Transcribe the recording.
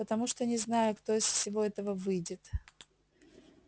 потому что не знаю кто из всего этого выйдет